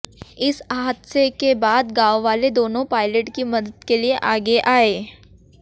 इस हादसे के बाद गांववाले दोनों पायलट की मदद के लिए आगे आए